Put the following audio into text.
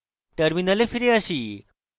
terminal ফিরে আসি